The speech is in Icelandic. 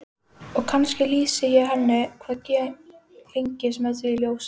Og kannski lýsi ég henni hvað lengst með því ljósi.